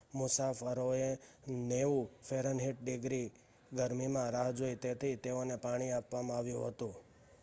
મુસાફરોએ 90 ફે. - ડિગ્રી ગરમીમાં રાહ જોઈ તેથી તેઓને પાણી આપવામાં આવ્યું હતું